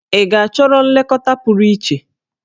Ị chọrọ nlekọta pụrụ iche?